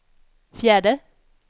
fjärde